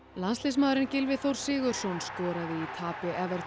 landsliðsmaðurinn Gylfi Þór Sigurðsson skoraði í tapi